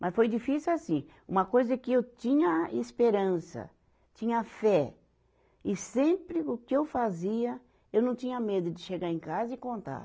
Mas foi difícil assim, uma coisa que eu tinha esperança, tinha fé, e sempre o que eu fazia, eu não tinha medo de chegar em casa e contar.